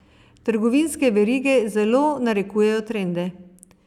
Trgovinske verige zelo narekujejo trende.